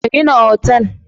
Ka gina otal!